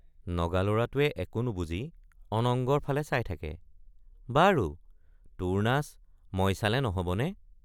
নগালৰাটোৱে একো নুবুজি অনঙ্গৰ ফালে চাই থাকে বাৰু তোৰ নাচ মই চালে নহবনে?